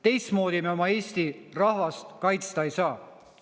Teistmoodi me oma Eesti rahvast kaitsta ei saa.